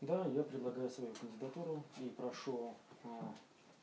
да я предлагаю свою кандидатуру и прошу а